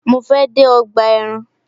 Mo fe de ọgbà ẹran